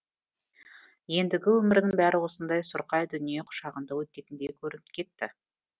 ендігі өмірінің бәрі осындай сұрқай дүние құшағында өтетіндей көрініп кетті